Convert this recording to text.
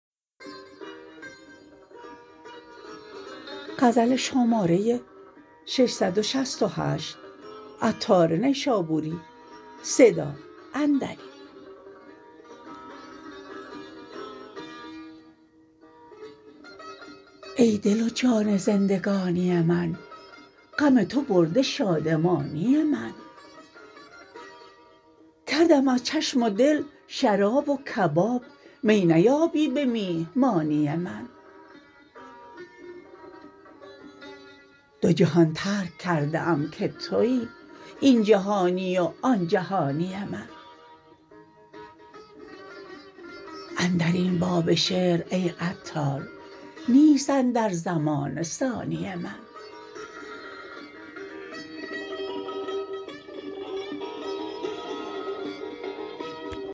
ای دل و جان زندگانی من غم تو برده شادمانی من کردم از چشم و دل شراب و کباب می نیایی به میهمانی من دو جهان ترک کرده ام که توی این جهانی و آن جهانی من اندرین باب شعر ای عطار نیست اندر زمانه ثانی من